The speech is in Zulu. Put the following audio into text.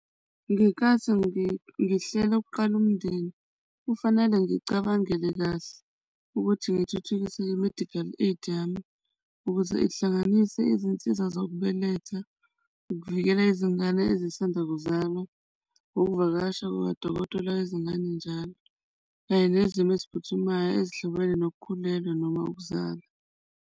Ngenkathi ngihlela ikuqala umndeni kufanele ngicabangele kahle ukuthi ngithuthukise kwe-medical aid yami ukuze ihlanganise izinsiza zokubeletha ukuvikela izingane ezisanda kuzalwa ukuvakasha kuka dokotela wezingane njalo, kanye nezimo eziphuthumayo ezihlobene nokukhulelwa, noma ukuzala.